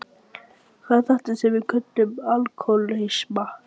Hvað er þetta sem við köllum alkohólisma?